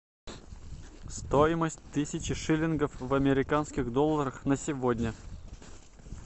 стоимость тысячи шиллингов в американских долларах на сегодня